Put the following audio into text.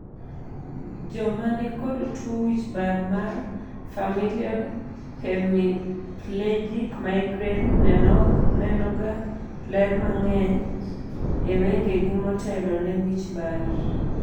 joma ni kod tuo wich bar mar familial hemiplegic migraine nenoga ler mang'eny e wengegi motelo ne wichbar